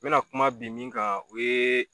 N be na kuma bi min kan